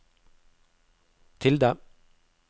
tilde